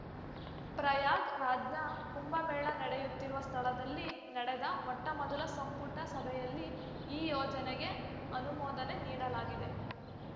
ಪ್ರಯಾಗ್‌ರಾಜ್‌ನ ಕುಂಭ ಮೇಳ ನಡೆಯುತ್ತಿರುವ ಸ್ಥಳದಲ್ಲಿ ನಡೆದ ಮೊಟ್ಟಮೊದಲ ಸಂಪುಟಸಭೆಯಲ್ಲಿ ಈ ಯೋಜನೆಗೆ ಅನುಮೋದನೆ ನೀಡಲಾಗಿದೆ